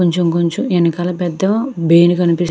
కొంచెం కొంచెం వెనకాల పెద్ద బేలు కనిపి --